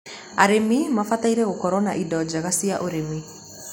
arĩmi mabataire gũkorũo na indo njega cia ũrĩmi